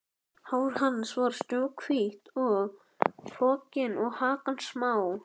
Hár hans var snjóhvítt og hrokkið og hakan smá.